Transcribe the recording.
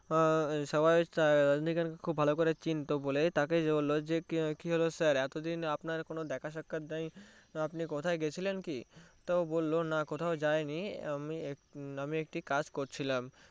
সবাই রাজনীকান্থকে ভালো করে চিনতো বলে তাকে যেয়ে বললো যে কি হলো sir এতদিন আপনার কোনো দেখা সাক্ষাত নেই আপনি কোথাও গেছিলেন কি তো বললো না কোথাও যায়নি আমি একটি কাজ করছিলাম